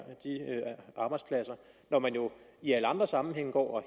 at arbejdspladser når man jo i alle andre sammenhænge går